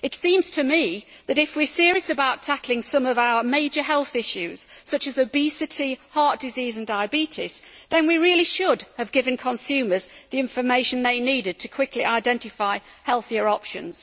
It seems to me that, if we are serious about tackling some of our major health issues, such as obesity, heart disease and diabetes, then we really should have given consumers the information they need to quickly identify healthier options.